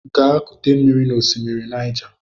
Gaa kute mmiri n'osimiri Niger!